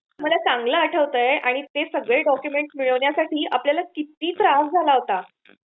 मला चांगल आठवतय आणि ते सगळे डॉक्युमेंट मिळवण्यासाठी आपल्याला किती त्रास झाला होता.